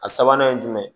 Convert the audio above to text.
A sabanan ye jumɛn ye